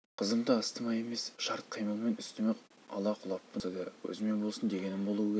қызымды астыма емес шарт қимылмен үстіме ала құлаппын не болса да өзіме болсын дегенім болуы керек